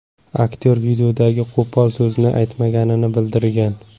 Aktyor videodagi qo‘pol so‘zni aytmaganini bildirgan.